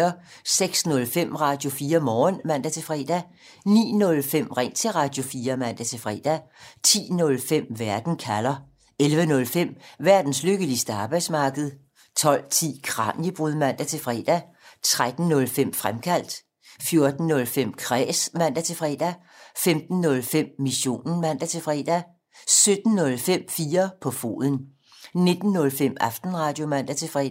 06:05: Radio4 Morgen (man-fre) 09:05: Ring til Radio4 (man-fre) 10:05: Verden kalder 11:05: Verdens lykkeligste arbejdsmarked 12:10: Kraniebrud (man-fre) 13:05: Fremkaldt 14:05: Kræs (man-fre) 15:05: Missionen (man-fre) 17:05: 4 på foden 19:05: Aftenradio (man-fre)